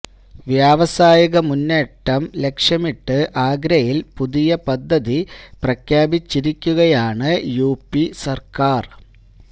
വ്യാവസായിക മുന്നേറ്റം ലക്ഷ്യമിട്ട് ആഗ്രയിൽ പുതിയ പദ്ധതി പ്രഖ്യാപിച്ചിരിക്കുകയാണ് യുപി സർക്കാർ